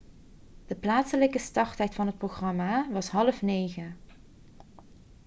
de plaatselijke starttijd van het programma was 20.30 uur 15.00 utc